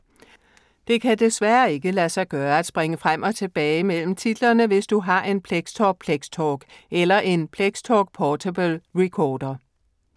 Det kan desværre ikke lade sig gøre at springe frem og tilbage mellem titlerne, hvis du har en Plextor Plextalk eller en Plextalk Portable Recorder.